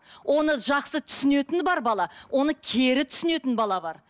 оны жақсы түсінетін бар бала оны кері түсінетін бала бар